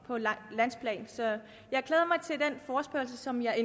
på landsplan så jeg glæder mig til den forespørgsel som jeg